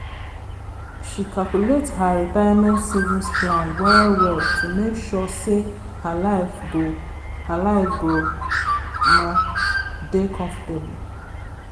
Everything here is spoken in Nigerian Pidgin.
she calculate her retirement savings plans well well to make sure sey her life go her life go omo dey comfortable